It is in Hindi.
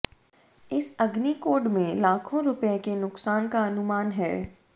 इस अग्निकॉड में लाखों रुपए के नुकसान का अनुमान है